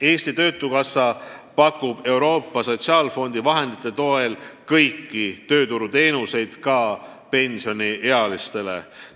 " Eesti Töötukassa pakub Euroopa Sotsiaalfondi vahendite toel kõiki tööturuteenuseid ka pensioniealistele.